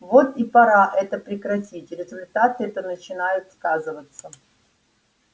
вот и пора это прекратить результаты то начинают сказываться